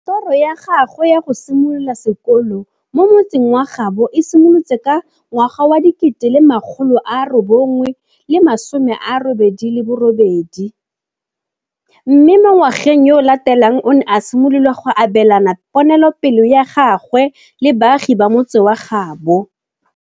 Toro ya gagwe ya go simolola sekolo mo motseng wa gaabo e simolotse ka 1988, mme mo ngwageng yo o latelang o ne a simolola go abelana ponelopele ya gagwe le baagi ba motse wa gaabo.